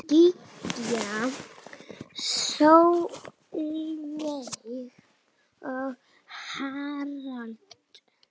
Gígja Sólveig og Harald.